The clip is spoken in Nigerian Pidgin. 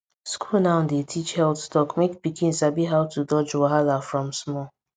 school now dey teach health talk make pikin sabi how to dodge wahala from small